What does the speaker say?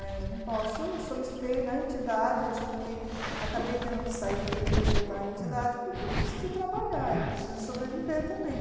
Né eu não posso solicitei na entidade, eu tive que acabei tendo que sair da diretoria da entidade, porque eu preciso trabalhar, eu preciso sobreviver também.